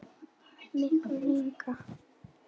Miklu lengra.